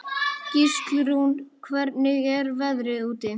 Gíslrún, hvernig er veðrið úti?